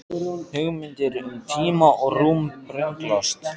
Hugmyndir um tíma og rúm brenglast.